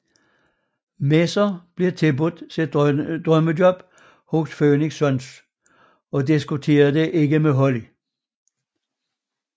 Messer bliver tilbudt sit drømmejob hos Phoenix Suns og diskuterer det ikke med Holly